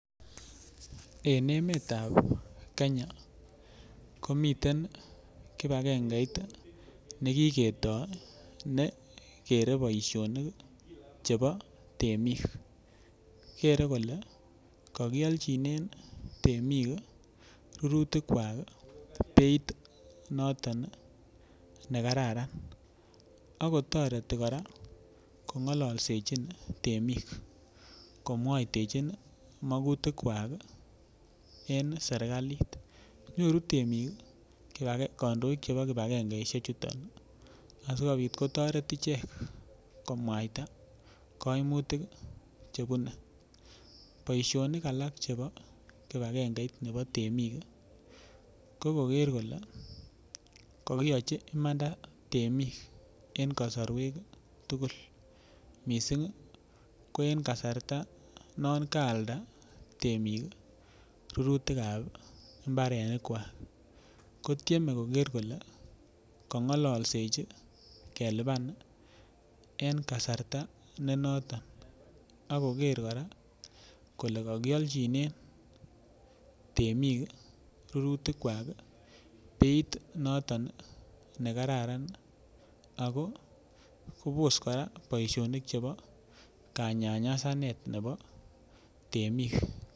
En emetab Kenya komiten kibakengeit ii ne kiketoi ne kere boisionik chebo temik, kere kole kakiolchinen ii temik ii rurutikwak ii beit noton ii ne kararan, akotoreti kora kongololsechin temik, komwatechin ii makutikwak ii en serikalit, nyoru temik ii kandoik chebo kibakengeishechuton asikobit kotoret ichek komwaita kaimutik che bune, boisionik alak chebo kibakengeit nebo temik ii, ko koker kole kakiyochi imanda temik en kasarwek tugul, mising ii ko en kasarta non kaalda temik ii rurutikab imbarenikwak, kotieme koker kole kangalalsechi kelipan ii en kasarta ne noton, ak koker kora kole kakialchinen temik ii rurutikwak ii beit noton ii ne kararan, ako kobos kora boisionik chebo kanyanyasanet nebo temik.